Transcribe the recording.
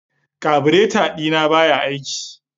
kabureta dina baya aiki.